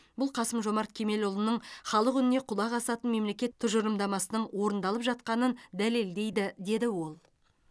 бұл қасым жомарт кемелұлының халық үніне құлақ асатын мемлекет тұжырымдамасының орындалып жатқанын дәлелдейді деді ол